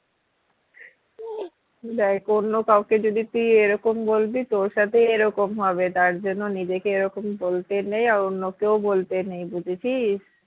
দ্যাখ অন্য কাউকে যদি তুই এরকম বলবি তোর সাথেই এরকম হবে তার জন্য নিজেকে এরকম বলতে নেই আর অন্যকেও বলতে নেই বুঝেছিস?